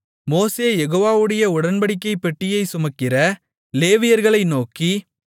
மோசே யெகோவாவுடைய உடன்படிக்கைப் பெட்டியைச் சுமக்கிற லேவியர்களை நோக்கி